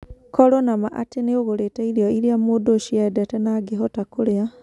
Korũo na ma atĩ nĩ ũgũrĩte irio iria mũndũ ũcio endete na angĩhota kũrĩa.